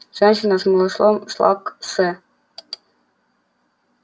женщина с малышом шла к с